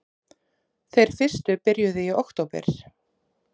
Þeir fyrstu byrjuðu í október